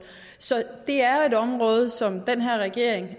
så det er et område som den her regering